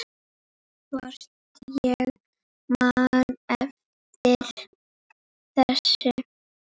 Hvort ég man eftir þessu.